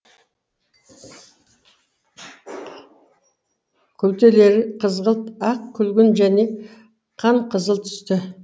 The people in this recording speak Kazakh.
күлтелері қызғылт ақ күлгін және қанқызыл түсті